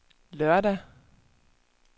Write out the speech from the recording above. lørdag